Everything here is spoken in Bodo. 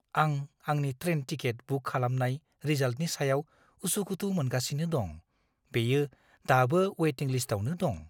आं आंनि ट्रेन टिकेट बुक खालामनाय रिजाल्टनि सायाव उसुखुथु मोनगासिनो दं। बेयो दाबो वेटिं लिस्टआवनो दं!